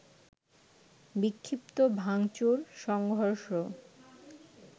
বিক্ষিপ্ত ভাঙচুর, সংঘর্ষ